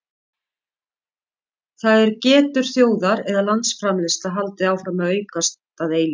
það er getur þjóðar eða landsframleiðsla haldið áfram að aukast að eilífu